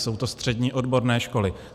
Jsou to střední odborné školy.